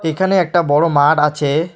এখানে একটা বড় মাঠ আছে।